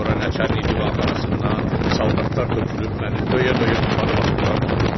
Sonra nəçərnin divanxanasından saldatlar tökülüb məni döyə-döyə aparıb atdılar dama.